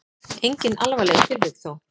Engin alvarleg tilvik þó.